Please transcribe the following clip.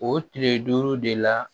O tile duuru de la